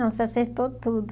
Não, você acertou tudo.